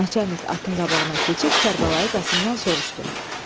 Naçalnik atın qabağına keçib Kərbəlayı Qasımdan soruşdu: